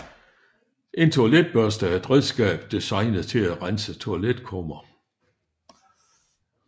En toiletbørste er et redskab designet til at rense toiletkummer